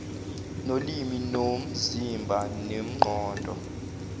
nolimi nomzimba nengqondo